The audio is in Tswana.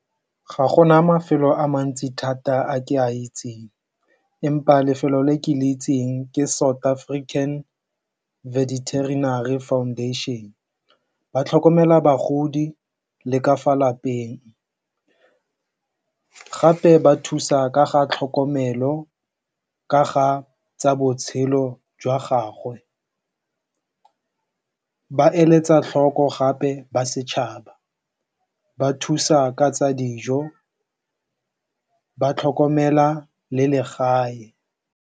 Ga gona mafelo a mantsi thata a ke a itseng empa lefelo le ke le itseng ke South African Veterinary Foundation. Ba tlhokomela bagodi le ka fa lapeng gape ba thusa ka ga tlhokomelo ka ga tsa botshelo jwa gagwe, ba eletsa tlhoko gape ba setšhaba, ba thusa ka tsa dijo, ba tlhokomela le legae.